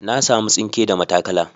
Na samu tsinke da matakala.